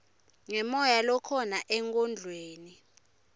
ngemoya lokhona enkondlweni